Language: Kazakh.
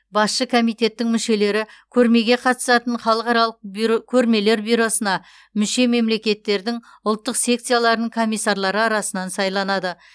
басшы комитеттің мүшелері көрмеге қатысатын халықаралық бюро көрмелер бюросына мүше мемлекеттердің ұлттық секцияларының комиссарлары арасынан сайланады